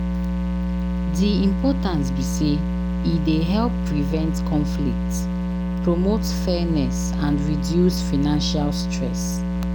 Di importance be say e dey help prevent conflicts, promote fairness and reduce financial stress.